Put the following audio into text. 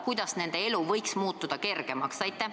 Kuidas nende elu võiks muutuda kergemaks?